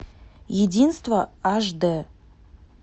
единство аш дэ